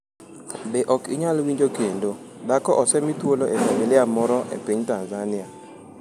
Be ok inyal winjo kendo. Dhako osemi thuolo e familia moro e piny Tanzania?